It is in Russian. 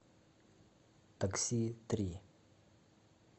такси три